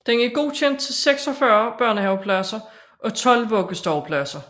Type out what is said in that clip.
Den er godkendt til 46 børnehavepladser og 12 vuggestuepladser